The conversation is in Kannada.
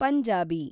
ಪಂಜಾಬಿ